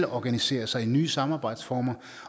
organiserer sig i nye samarbejdsformer